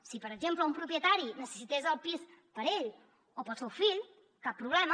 si per exemple un propietari necessités el pis per a ell o per al seu fill cap problema